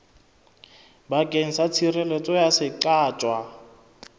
bakeng sa tshireletso ya seqatjwa